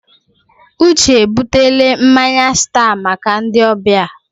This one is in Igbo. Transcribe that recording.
Uche ebutele mmanya stat maka ndị ọbịa.